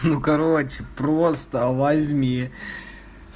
ну короче просто возьми